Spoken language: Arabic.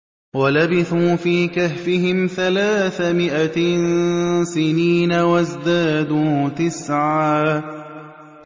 وَلَبِثُوا فِي كَهْفِهِمْ ثَلَاثَ مِائَةٍ سِنِينَ وَازْدَادُوا تِسْعًا